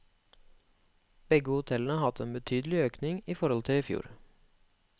Begge hotellene har hatt en betydelig økning i forhold til i fjor.